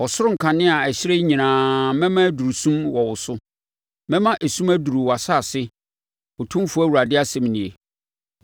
Ɔsoro nkanea a ɛhyerɛn nyinaa mɛma aduru sum wɔ wo so; mɛma esum aduru wʼasase, Otumfoɔ Awurade asɛm nie.